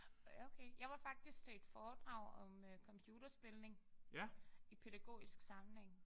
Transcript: Ja okay. Jeg var faktisk til et foredrag om computerspilning i pædagogisk sammenhæng